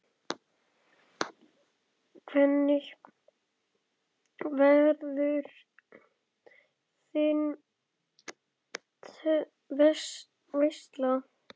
Hvernig verður þín veisla?